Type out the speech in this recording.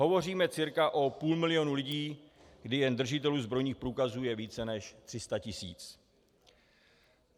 Hovoříme cca o půl milionu lidí, kdy jen držitelů zbrojních průkazů je více než 300 tisíc.